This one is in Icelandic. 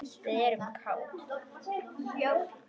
Við erum kát.